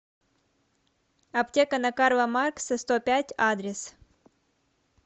аптека на карла маркса сто пять адрес